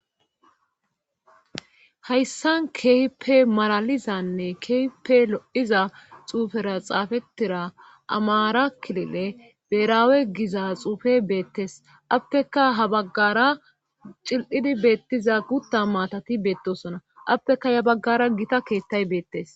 Hayssan keehippe maralizanne keehppe lo7iza xuufera xaafettira amaarakilile beraawe giza xuufe beettes atteka ha baggara cil7idi beettiza gutta maatati beettosona atteka ya baggara gita keettay beettes